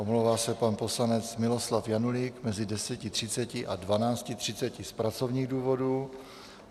Omlouvá se pan poslanec Miloslav Janulík mezi 10.30 a 12.30 z pracovních důvodů.